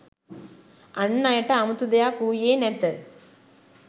අන් අයට අමුතු දෙයක් වූයේ නැත